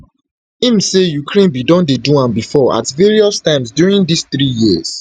im say ukraine bin don do am before at various times during dis three years